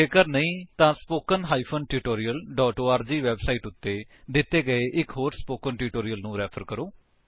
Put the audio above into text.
ਜੇਕਰ ਜੇ ਨਹੀਂ ਤਾਂ http spoken tutorial org website ਉੱਤੇ ਦਿੱਤੇ ਗਏ ਇੱਕ ਹੋਰ ਸਪੋਕਨ ਟਿਊਟੋਰਿਅਲ ਨੂੰ ਰੈਫਰ ਕਰੋ